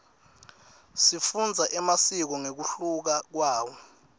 sifundza emasiko ngekuhluka kwawo